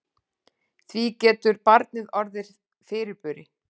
Því getur barnið orðið fyrirburi.